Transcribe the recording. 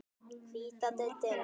Hvíta deildin